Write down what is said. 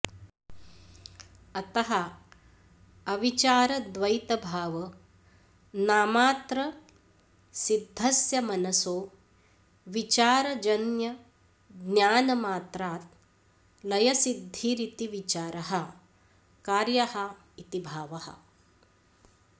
अतः अविचारद्वैतभावनामात्रसिद्धस्य मनसो विचारजन्यज्ञानमात्रात् लयसिद्धिरिति विचारः कार्यः इति भावः